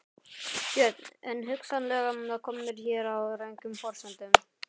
Björn: En hugsanlega komnir hér á röngum forsendum?